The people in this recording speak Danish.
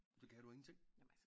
Så kan du ingenting